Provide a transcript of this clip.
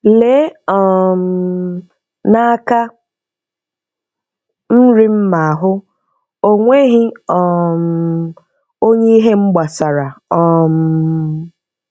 Lee um n'aka nri m ma hụ; onweghị um onye ihe m gbasara. um